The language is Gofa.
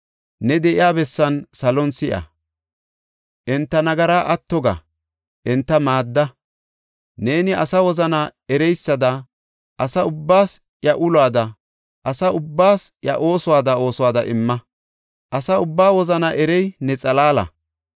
ne de7iya bessan salon si7a. Enta nagaraa atto ga; enta maadda. Neeni asa wozana ereysada asa ubbaas iya oosuwada oosuwada imma. Asa ubbaa wozana erey ne xalaala.